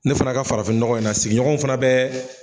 Ne fana ka farafin ɲɔgɔ in na sigiɲɔgɔn fana bɛɛ.